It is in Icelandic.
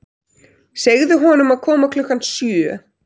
Segðu honum að koma klukkan sjö.